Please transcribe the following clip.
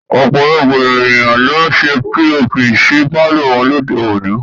Ọ̀pọ̀lọpọ̀ ènìyàn ló ń ṣe POP sí pàlọ́ wọn lóde òní